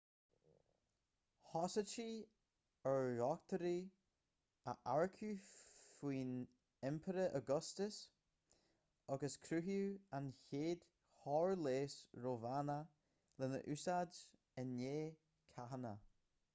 thosaítí ar dhochtúirí a earcú faoin impire augustus agus cruthaíodh an chéad chór leighis rómhánach lena úsáid i ndiaidh cathanna